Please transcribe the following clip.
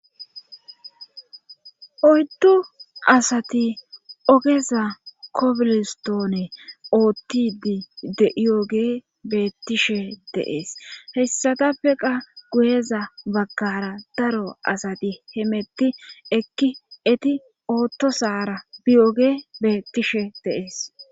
Oyddu asati ogeza kobilistoone oottidi de7iyoge beettishe deees hessatappe qa guyeza baggara daro asati hemetti ekki eti oottosaara biYoge beettishe deees.